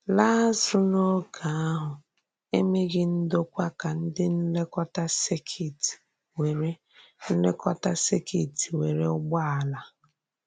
Làá àzụ̀ n’ógè ahụ, e mèghì ndòkwà ka ndị nlékòtà sèkìt nwèrè nlékòtà sèkìt nwèrè ùgbòàlà.